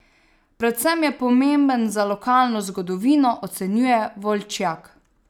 Predvsem je pomemben za lokalno zgodovino, ocenjuje Volčjak.